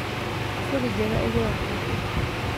Kuburi njega ĩgũragwo kũ?